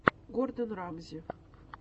гордон рамзи